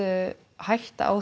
hætta á